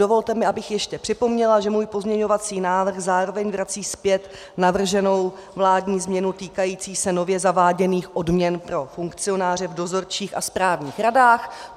Dovolte mi, abych ještě připomněla, že můj pozměňovací návrh zároveň vrací zpět navrženou vládní změnu týkající se nově zaváděných odměn pro funkcionáře v dozorčích a správních radách.